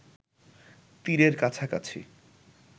তীরের কাছাকাছি